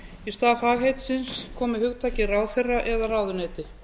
í stað fagheitisins komi hugtakið ráðherra eða ráðuneyti